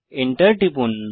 Enter টিপুন